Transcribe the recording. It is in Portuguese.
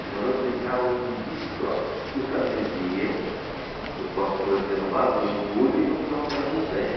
Então nós brincávamos de bicicross, porque os caminhões iam, os basculantes derramavam o entulho, então ficavam aquelas montanhas.